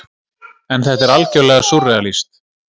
En þetta er algjörlega súrrealískt.